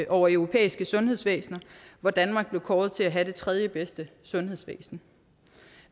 over europæiske sundhedsvæsener hvor danmark blev kåret til at have det tredjebedste sundhedsvæsen